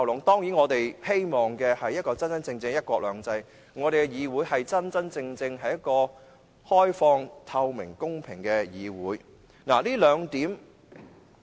當然，我們希望有一個真正的"一國兩制"，我們的議會是一個真正開放、透明及公平的議會。